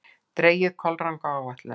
Dregið kolranga ályktun!